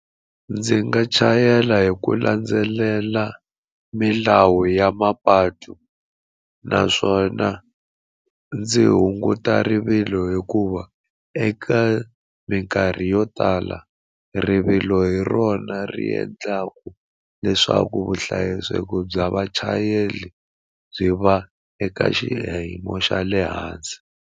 Ndzi nga chayela hi ku landzelela milawu ya mapatu naswona ndzi hunguta rivilo hikuva eka minkarhi yo tala rivilo hi rona ri endlaka leswaku vuhlayiseki bya vachayeri byi va eka xa le hansi.